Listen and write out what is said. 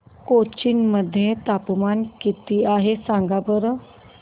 कोचीन मध्ये तापमान किती आहे सांगा बरं